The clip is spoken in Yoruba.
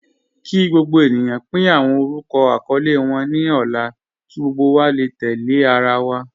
Kí gbogbo ènìyàn pín awọn orúkọ àkọọlẹ wọn ní ọ̀la kí gbogbo wa lè tẹ̀lẹ̀ àrà wa.